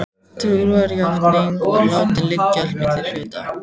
Trúarjátningin var látin liggja milli hluta.